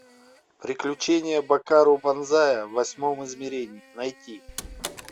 приключения бакару банзая в восьмом измерении найти